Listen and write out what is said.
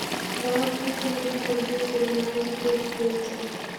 давай включим игру манчестер юнайтед против лестера